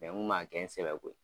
n kun man kɛ n sɛbɛ ko ye.